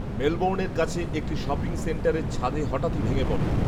মেলবোর্নের কাছের একটি শপিং সেন্টারের ছাদে হঠাতই ভেঙে পড়ে